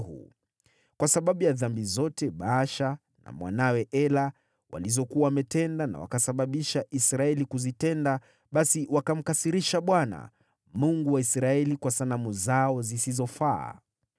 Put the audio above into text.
kwa sababu ya dhambi zote Baasha na mwanawe Ela walizokuwa wametenda na wakasababisha Israeli kuzitenda, basi wakamkasirisha Bwana , Mungu wa Israeli kwa sanamu zao zisizofaa.